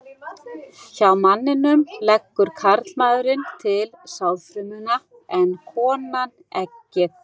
Hjá manninum leggur karlmaðurinn til sáðfrumuna en konan eggið.